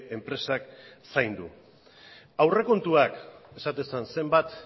enpresak zaindu aurrekontuak esaten zen zenbat